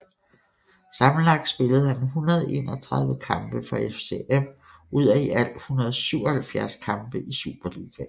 Sammenlagt spillede han 131 kampe for FCM ud af i alt 177 kampe i Superligaen